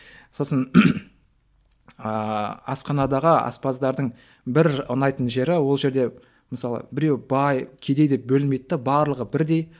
сосын ыыы асханадағы аспаздардың бір ұнайтын жері ол жерде мысалы біреу бай кедей деп бөлмейді де барлығы бірдей